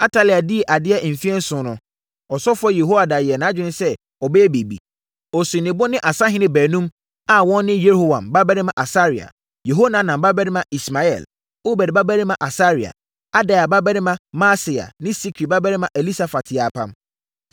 Atalia dii adeɛ mfeɛ nson no, ɔsɔfoɔ Yehoiada yɛɛ nʼadwene sɛ ɔbɛyɛ biribi. Ɔsii ne bo ne asahene baanum, a wɔn ne Yeroham babarima Asaria, Yehohanan babarima Ismael, Obed babarima Asaria, Adaia babarima Maaseia ne Sikri babarima Elisafat yɛɛ apam.